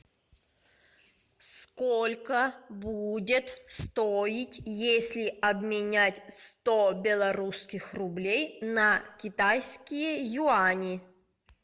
сколько будет стоить если обменять сто белорусских рублей на китайские юани